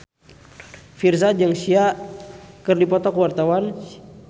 Virzha jeung Sia keur dipoto ku wartawan